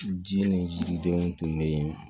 Ji ni jiridenw tun bɛ yen